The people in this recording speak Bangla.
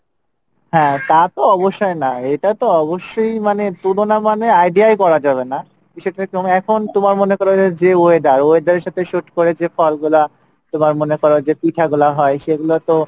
হ্যাঁ তা তো অবশ্যই না, এটা তো অবশ্যই মানে তুলনা মানে idea ই করা যাবে না, বিষয় টা এরকম এখন তোমার মনে করো যে weather, weather এর সাথে suit করে যে ফল গোলা তোমার মনে করো যে পিঠা গোলা হয়, সেগুলা তো